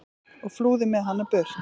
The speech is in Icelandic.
og flúði með hana burt.